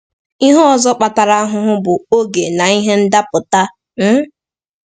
Ihe ọzọ kpatara ahụhụ bụ “oge na ihe ndapụta.” um